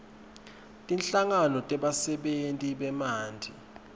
tinhlangano tebasebentisi bemanti